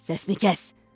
Səsini kəs!